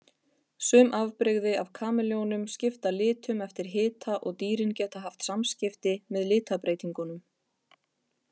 Sum afbrigði af kameljónum skipta litum eftir hita og dýrin geta haft samskipti með litabreytingunum.